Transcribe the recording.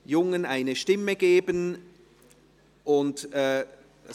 «Jungen eine Stimme geben» .